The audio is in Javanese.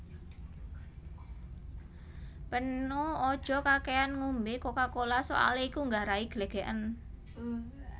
Peno aja kakekan ngombe Coca Cola soale iku nggarai glegeken